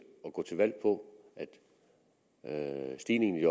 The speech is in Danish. at gå til valg på at stigningen i